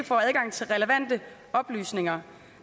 får adgang til relevante oplysninger